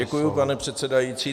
Děkuji, pane předsedající.